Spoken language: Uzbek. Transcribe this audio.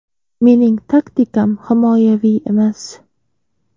Mening taktikam himoyaviy emas.